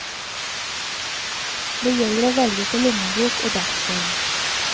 Det gjelder å velge etter lommebok og dagsform.